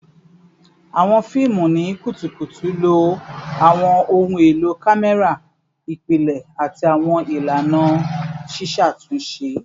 Awọn fiimu ni kutukutu lo awọn ohun elo kamẹra ipilẹ ati awọn ilana ṣiṣatunṣe